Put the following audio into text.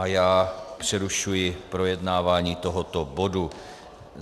A já přerušuji projednávání tohoto bodu.